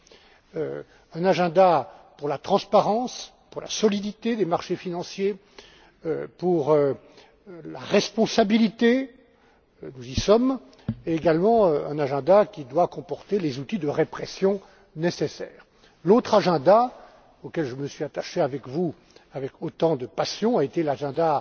C'était un agenda pour la transparence, pour la solidité des marchés financiers, pour la responsabilité nous y sommes et également un agenda qui devait comporter les outils de répression nécessaires. L'autre agenda, auquel je me suis attaché avec vous avec autant de passion, a été l'agenda